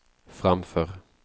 framför